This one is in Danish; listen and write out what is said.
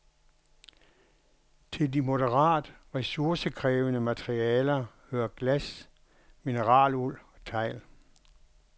Til de moderat ressourcekrævende materialer hører glas, mineraluld og tegl.